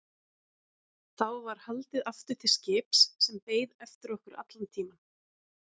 Þá var haldið aftur til skips sem beið eftir okkur allan tímann.